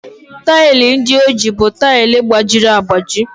Taịlị ndị o ji bụ tile gbajiri agbaji.